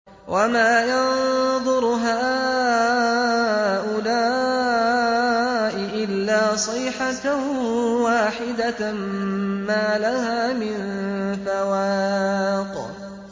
وَمَا يَنظُرُ هَٰؤُلَاءِ إِلَّا صَيْحَةً وَاحِدَةً مَّا لَهَا مِن فَوَاقٍ